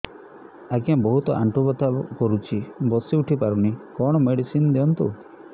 ଆଜ୍ଞା ବହୁତ ଆଣ୍ଠୁ ବଥା କରୁଛି ବସି ଉଠି ପାରୁନି କଣ ମେଡ଼ିସିନ ଦିଅନ୍ତୁ